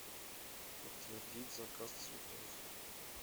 подтвердить заказ цветов